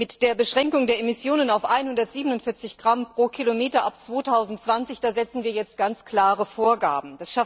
Mit der Beschränkung der Emissionen auf 147 g km ab 2020 setzen wir jetzt ganz klare Vorgaben.